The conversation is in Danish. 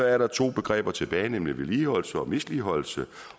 er der to begreber tilbage nemlig vedligeholdelse og misligholdelse